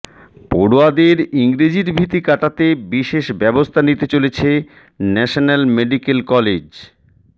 পড়ুয়াদের ইংরেজির ভীতি কাটাতে বিশেষ ব্যবস্থা নিতে চলেছে ন্যাশনাল মেডিক্যাল কলেজ